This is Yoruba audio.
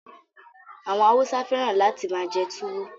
Àwọn Hausa feran lati maa je tuwo